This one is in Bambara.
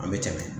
An bɛ cɛ